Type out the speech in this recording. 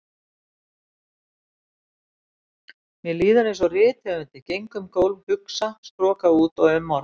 Mér líður einsog rithöfundi, geng um gólf, hugsa, stroka út og umorða.